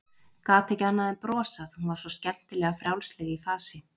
Gat ekki annað en brosað, hún var svo skemmtilega frjálsleg í fasi.